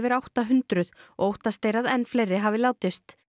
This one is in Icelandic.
átta hundruð og óttast er að enn fleiri hafi látist